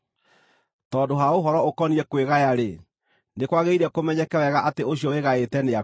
Tondũ ha ũhoro ũkoniĩ kwĩgaya-rĩ, nĩ kwagĩrĩire kũmenyeke wega atĩ ũcio wĩgaĩte nĩakuĩte,